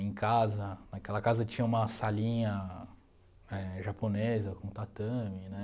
Em casa, naquela casa tinha uma salinha éh japonesa com tatame né.